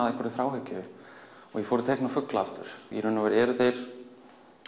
að einhverri þráhyggju og ég fór að teikna fugla aftur í raun og veru eru þeir